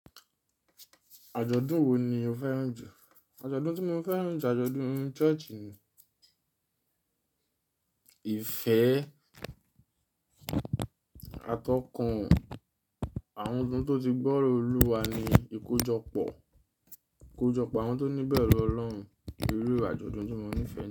Àjọ̀dún wo ni o fẹ́ràn jù? Àjọ̀dún tí mo fẹ́ràn jù ni àjọ̀dún church ní. Ìfẹ́ atọ́kun àwọn tó ti gbọ́rọ̀ Olúwa ni ìkójọpọ̀ àwọn tó ní ìbẹ̀rù Ọlọ́run. Èrú àjọ̀dún tí mó nífẹ̀ẹ́.